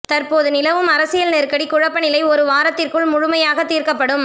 தற்போது நிலவும் அரசியல் நெருக்கடி குழப்ப நிலை ஒரு வாரத்திற்குள் முழுமையாக தீர்க்கப்படும்